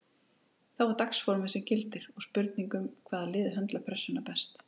Þá er það dagsformið sem gildir og spurning um hvaða lið höndlar pressuna best.